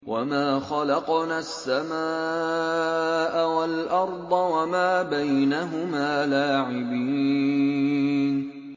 وَمَا خَلَقْنَا السَّمَاءَ وَالْأَرْضَ وَمَا بَيْنَهُمَا لَاعِبِينَ